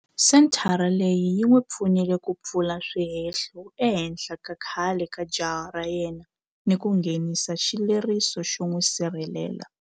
Senthara leyi yi n'wi pfunile ku pfula swihehlo ehenhla ka khale ka jaha ra yena ni ku nghenisa xileriso xo n'wi sirhelela.